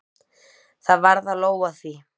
Það varð að lóga því.